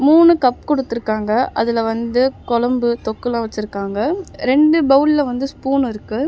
மூணு கப் குடுத்துருக்காங்க அதுல வந்து குழம்பு தொக்குலா வெச்சுருக்காங்க ரெண்டு பவுல்ல வந்து ஸ்பூன் இருக்கு.